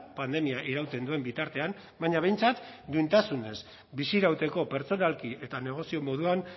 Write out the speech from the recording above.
pandemia irauten duen bitartean baina behintzat duintasunez bizirauteko pertsonalki eta negozio moduan